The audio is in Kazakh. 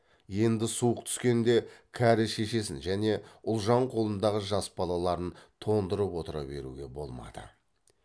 енді суық түскенде кәрі шешесін және ұлжан қолындағы жас балаларын тоңдырып отыра беруге болмады